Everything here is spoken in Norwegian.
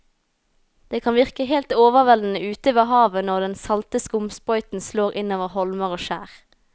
Det kan virke helt overveldende ute ved havet når den salte skumsprøyten slår innover holmer og skjær.